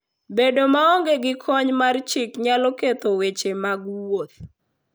Bedo maonge gi kony mar chik nyalo ketho weche mag wuoth.